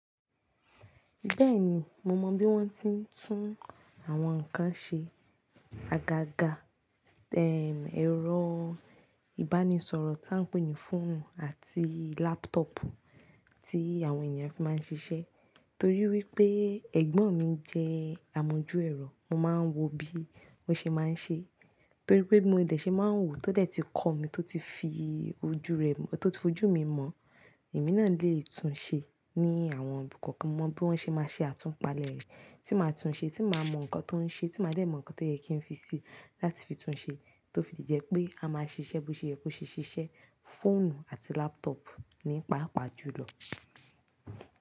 Bẹ́ẹ̀ni, mo mọ bí wọ́n ti ń tún àwọn ǹnkan ṣe. Agaga, ẹrọ ìbánisọ̀rọ̀ tá ń pè ní fóònù àti lápútọ̀pù tí àwọn ènìyàn fi máa ń ṣiṣẹ́. Torí wípé ẹ̀gbọ́n mi jẹ́ àmójú ẹ̀rọ, mo máa ń wo bí ó ṣe máa ń ṣe. Torí pé mo dẹ̀ ṣe máa ń wò tó dẹ̀ ti kọ́ mi tó ti fojú mi mọ̀. Èmi náà lè tún ṣe ní àwọn nǹkan kan mo mọ bí wọ́n ṣe máa ṣe àtúnpalẹ̀ rẹ̀ tí máa tún ṣe, tí màá mọ nǹkan tó ń ṣe, tí màá dẹ̀ mọ nǹkan tó yẹ kí n fi sì láti fi tún ṣe tó fi jẹ́ pé a máa ṣiṣẹ́ bó ṣe yẹ kó ṣe ṣiṣẹ́ fóònù àti lápútọ̀pù nípaàpá jùlọ.